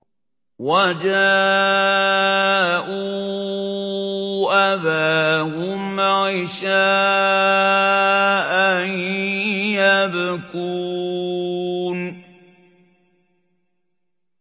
وَجَاءُوا أَبَاهُمْ عِشَاءً يَبْكُونَ